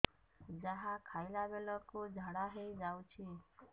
ଯାହା ଖାଇଲା ବେଳକୁ ଝାଡ଼ା ହୋଇ ଯାଉଛି